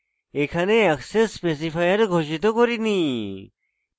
এখানে access specifier ঘোষিত করিনি